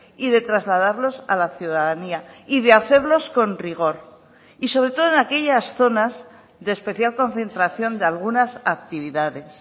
y de trasladarlos a la ciudadanía y de hacerlos con rigor y sobre todo en aquellas zonas de especial concentración de algunas actividades